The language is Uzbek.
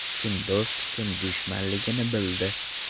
Kim do‘st, kim dushmanligini bildi”.